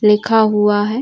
लिखा हुआ है।